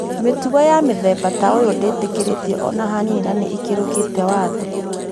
Mĩtugo ya mũthemba ta ũyũ ndĩtĩkĩrĩtio ona hanini na nĩ ĩkĩrũkite watho